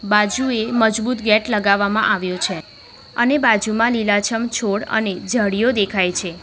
બાજુએ મજબૂત ગેટ લગાવામાં આવ્યો છે અને બાજુમાં લીલા-છમ છોડ અને ઝાડીઓ દેખાય છે.